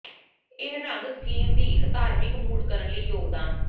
ਇਹ ਰੰਗ ਸਕੀਮ ਦੀ ਇੱਕ ਧਾਰਮਿਕ ਮੂਡ ਕਰਨ ਲਈ ਯੋਗਦਾਨ